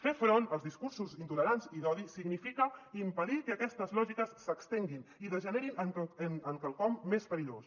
fer front als discursos intolerants i d’odi significa impedir que aquestes lògiques s’estenguin i degenerin en quelcom més perillós